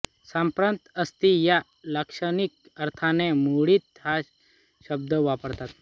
सांप्रत असती या लाक्षणिक अर्थाने मुरळी हा शब्द वापरतात